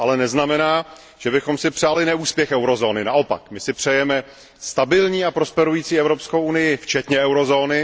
To ale neznamená, že bychom si přáli neúspěch eurozóny, naopak, my si přejeme stabilní a prosperující Evropskou unii včetně eurozóny.